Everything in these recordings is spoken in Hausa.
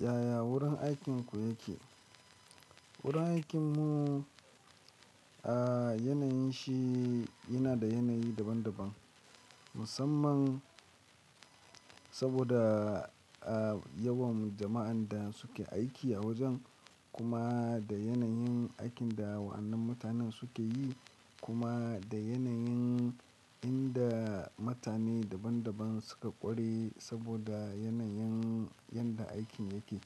Yaya wurin aikinku yake? Wurin aikinmu, a yanayin shi yana da yanayi daban-daban musamman saboda yawan jama'an da suke aiki a wajen, kuma da yanayin aikin da wa'annan mutanen suke yi, kuma da yanayin inda mutane daban-daban suka ƙware saboda yanayin yadda aikin yake.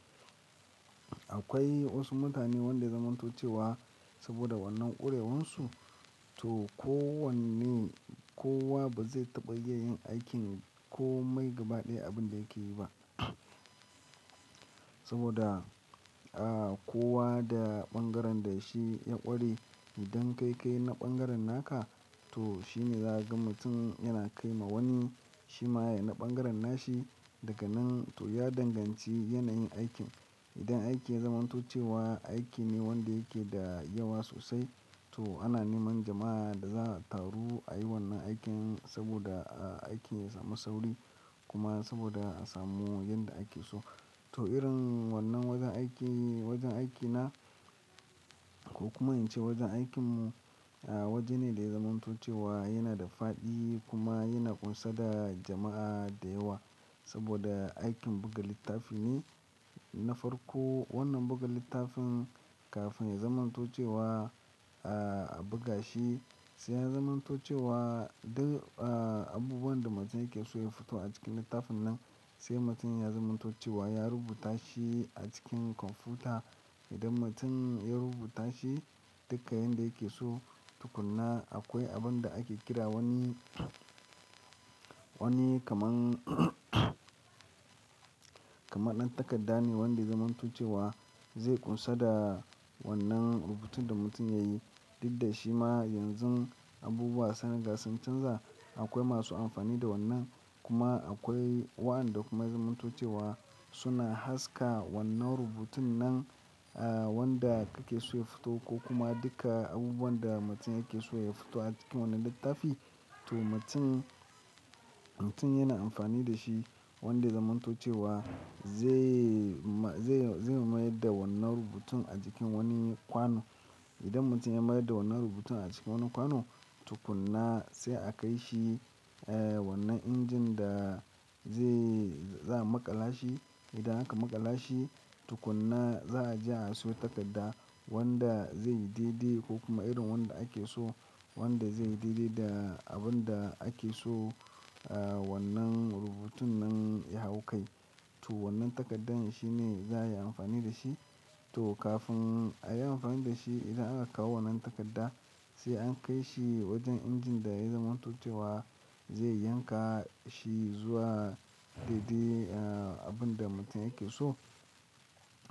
Akwai wasu mutane wanda ya zamanto cewa saboda wannan ƙurewansu to kowanne-- kowa ba zai taɓa iya yin aikin ko mai gaba ɗaya abin da yake yi ba. Saboda, a kowa da ɓangaren da shi ya ƙware idan kai kayi na ɓangaren naka to shine za ka ga mutum yana kai ma wani shi ma yana ɓangaren nashi daga nan to ya danganci yanayin aikin. Idan aiki ya zamanto cewa aiki ne wanda yake da yawa sosai to ana neman jama'a da za su taru a yi wannan aikin saboda aiki ya samu sauri kuma saboda a samu yadda ake so. To irin wannan wajen aiki, wajen aikina ko kuma in ce wajen aikinmu waje ne da ya zamanto cewa yana da faɗi kuma yana ƙunsar da jama'a da yawa saboda aikin buga littafi ne. Na farko wannan buga littafin kafin ya zamanto cewa a buga shi sai ya zamanto cewa duk abubuwan da mutum yake so ya fito a cikin littafin nan sai mutum ya zamanto cewa ya rubuta shi a cikin kwamfuta. Idan mutum ya rubuta shi duka yanda yake so tukuna akwai abin da ake kira wani, wani kaman, kamar ɗan takarda ne wanda ya zamanto cewa zai ƙunsar da wannan rubutun da mutum ya yi. Duk da shi ma yanzu abubuwa san riga sun canza. Akwai masu amfani da wannan kuma akwai waɗanda kuma zamantocewa suna haska wannan rubutun nan wanda kake so ya fito ko kuma dukka abubuwan da mutum yake so ya fito a cikin wannan littafi. To mutum, mutum yana amfani da shi wanda ya zamanto cewa zai, zai mayar da wannan rubutun a cikin wani kwano. Idan mutum ya mayar da wannan rubutun a cikin wannan kwano tukuna sai a kai shi wannan injin da zai, za a maƙala shi. Idan aka maƙala shi tukuna za'a je a siyo takarda wanda zai dai-dai ko kuma irin wanda ake so wanda zai dai-dai da abin da ake so wannan rubutun nan ya hau kai. To wannan takardar shi ne za'a yi amfani da shi. To kafin a yi amfani da shi idan aka kawo wannan takarda sai an kai shi wajen injin da ya zamanto cewa zai yanka shi zuwa dai-dai abin da mutum yake so.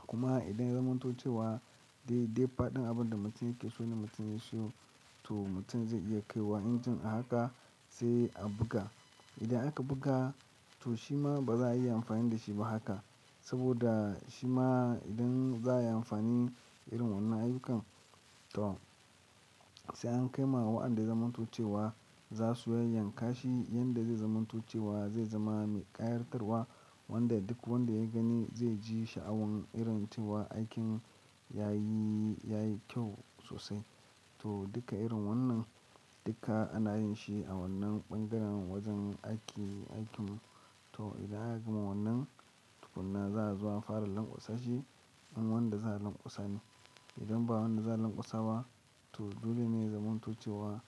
Kuma idan ya zamanto cewa dai-dai faɗin abin da mutum yake so ne mutum ya so to mutum zai iya kai wa injin a haka sai a buga. Idan aka buga to shi ma ba za'a iya amfani da shi ba haka saboda shi ma idan za'a yi amfani irin wannan ayyukan to sai an kai ma waɗanda ya zamanto cewa za su yayyanka shi yanda zai zamanto cewa zai zama me ƙayartarwa wanda duk wanda ya gani zai ji sha'awan irin tuwa aikin yayi, yayi kyau sosai. To duka irin wannan dukka ana yin shi a wannan bangaren wajen aiki, aikin to idan aka gama wannan, tukunna za'a zo a fara lanƙwasa shi, in wanda za'a lanƙwasa ne. Idan ba wanda za lanƙwasa ba to dole ne zamantocewa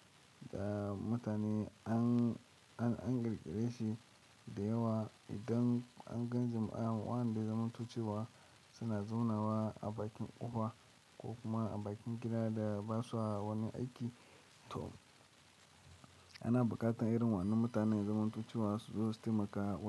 da mutane idan, an ƙirƙire shi da yawa idan an gan jama'a waɗanda ya zamanto cewa suna zauna a bakin ƙofa ko kuma a bakin gida da basu wani aiki to, ana buƙatar irin waɗannan mutanen ya zamanto cewa su zo su taimaka wa.